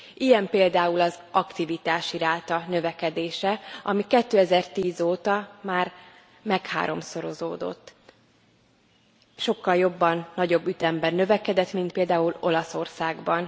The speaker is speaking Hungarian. Ilyen például az aktivitási ráta növekedése, ami 2010 óta már megháromszorozódott, sokkal jobban, nagyobb ütemben növekedett, mint például Olaszországban.